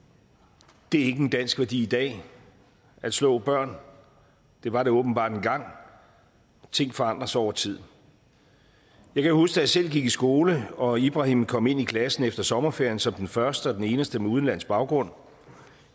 det er ikke en dansk værdi i dag at slå børn det var det åbenbart engang ting forandrer sig over tid jeg kan huske da jeg selv gik i skole og ibrahim kom ind i klassen efter sommerferien som den første og den eneste med udenlandsk baggrund